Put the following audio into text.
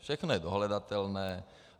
Všechno je dohledatelné.